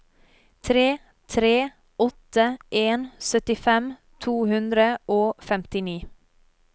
tre tre åtte en syttifem to hundre og femtini